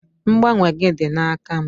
Mgbanwe gị dị n'aka m.